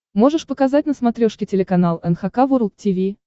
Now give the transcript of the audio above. можешь показать на смотрешке телеканал эн эйч кей волд ти ви